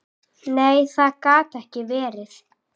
Nei, það gat ekki verið.